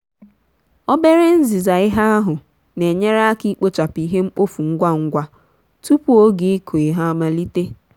obere nziza ihe ahụ na-enyere aka ikpochapụ ihe mkpofu ngwa ngwa tupu oge ịkụ ihe amalite.